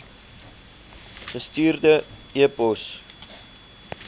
gestuurde e pos